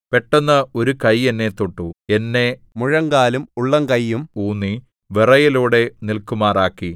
പെട്ടെന്ന് ഒരു കൈ എന്നെ തൊട്ടു എന്നെ മുഴങ്കാലും ഉള്ളങ്കയ്യും ഊന്നി വിറയലോടെ നില്‍ക്കുമാറാക്കി